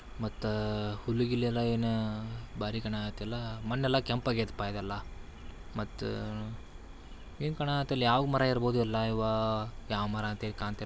ಮತ್ತ ಹುಲ್ಲು ಗಿಲ್ಲು ಏನು ಬಾರಿ ಕಾಣಕತಾವು ಮಣ್ಣೆಲ್ಲ ಕೆಂಪಾಗೈತಪ್ಪ ಇಲ್ಲೆಲ್ಲ ಮತ್ತು ಏನ್ ಕಾಣಕತ್ತಾವು ಯಾವ ಮರ ಇರ್ಬೊದ ಇವ ಎಲ್ಲ ಯಾವ ಮರ ಏನು ಕಾಣುತ್ತಿಲ್ಲ.